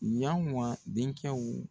Yanwa den kɛw